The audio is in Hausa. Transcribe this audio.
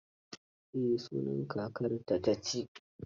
Eh, sunan kakarta ta ci.